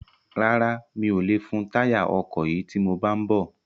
Rárá, mi ò lè fun táyà ọkọ̀ yìí tí mo bá ń bọ̀